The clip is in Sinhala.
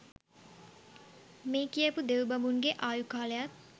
මේ කියපු දෙව් බඹුන්ගේ ආයු කාලයත්